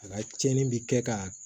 A ka tiɲɛni bi kɛ ka